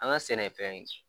An ka sɛnɛfɛn